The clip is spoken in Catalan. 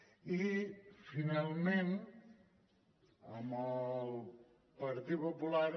i finalment el partit popular